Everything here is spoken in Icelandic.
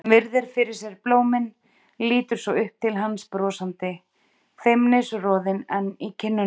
Hún virðir fyrir sér blómin, lítur svo upp til hans brosandi, feimnisroðinn enn í kinnunum.